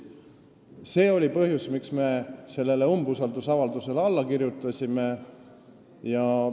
See oli põhjus, miks me sellele umbusaldusavaldusele alla kirjutasime.